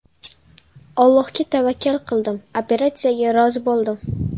Allohga tavakkal qildim, operatsiyaga rozi bo‘ldim.